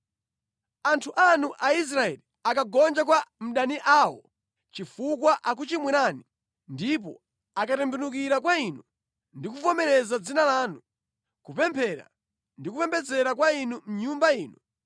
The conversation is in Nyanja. “Anthu anu Aisraeli akagonja kwa adani awo chifukwa akuchimwirani, ndipo akatembenukira kwa Inu ndi kuvomereza Dzina lanu, kupemphera ndi kupembedzera kwa Inu mʼNyumba ino,